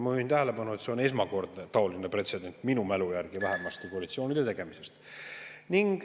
Ma juhin tähelepanu, et see on vähemasti minu mälu järgi esmakordne taoline pretsedent koalitsioonide tegemistest.